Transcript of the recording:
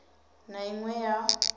na i ṅ we ya